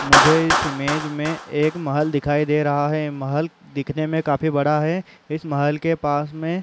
मुझे इस इमेज में एक महल दिखाई दे रहा है। महल दिखने में काफी बड़ा है। इस महल के पास में --